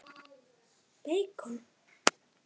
Jóhann: Beikon?